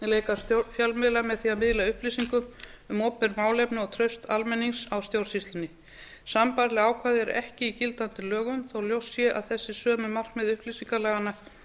möguleika fjölmiðla á því að miðla upplýsingum um opinber málefni og traust almennings á stjórnsýslunni sambærileg ákvæði eru ekki í gildandi lögum þó ljóst sé að þessi sömu markmið upplýsingalaganna